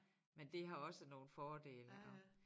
Men det har også nogle fordele og